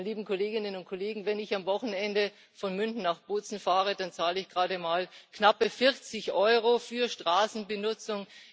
Liebe Kolleginnen und Kollegen, wenn ich am Wochenende von München nach Bozen fahre, dann zahle ich gerade mal knappe 40 Euro für Straßenbenutzung.